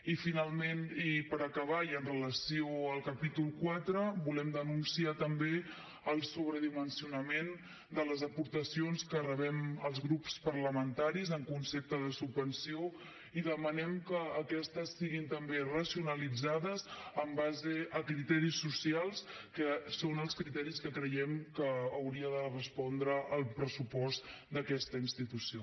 i finalment i per acabar i en relació amb el capítol iv volem denunciar també el sobredimensionament de les aportacions que rebem els grups parlamentaris en concepte de subvenció i demanem que aquestes siguin també racionalitzades en base a criteris socials que són els criteris a què creiem que hauria de respondre el pressupost d’aquesta institució